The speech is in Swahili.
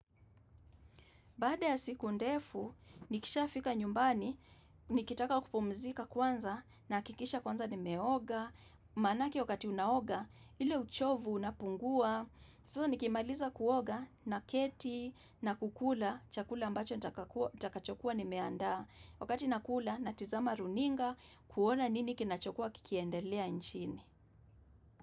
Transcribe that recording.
Baada ya siku ndefu, nikishafika nyumbani, nikitaka kupumzika kwanza naakikisha kwanza nimeoga. Manake wakati unaoga, ile uchovu unapungua. Saizo nikimaliza kuoga naketi na kukula, chakula ambacho nitakachokua nimeandaa. Wakati nakula, natizama runinga kuona nini kinachokuwa kikiendelea nchini.